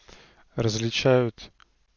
различают